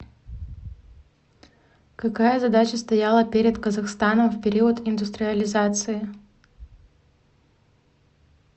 какая задача стояла перед казахстаном в период индустриализации